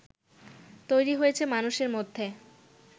তৈরি হয়েছে মানুষের মধ্যে